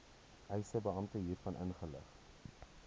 eisebeampte hiervan inlig